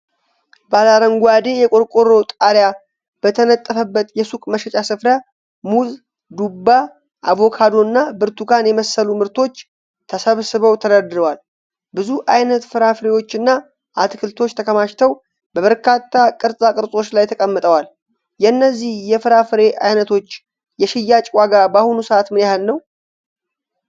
ባለአረንጓዴ የቆርቆሮ ጣሪያ በተነጠፈበት የሱቅ መሸጫ ስፍራ፣ ሙዝ፣ ዱባ፣ አቮካዶና ብርቱካን የመሰሉ ምርቶች ተሰብስበው ተደርድረዋል። ብዙ ዓይነት ፍራፍሬዎችና አትክልቶች ተከማችተው በበርካታ ቅርጻ ቅርጾች ላይ ተቀምጠዋል። የእነዚህ የፍራፍሬ ዓይነቶች የሽያጭ ዋጋ በአሁኑ ሰዓት ምን ያህል ነው?